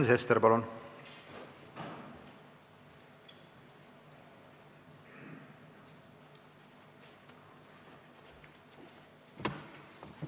Sven Sester, palun!